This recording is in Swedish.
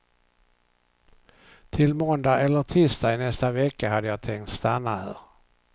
Till måndag eller tisdag i nästa vecka hade jag tänkt stanna här.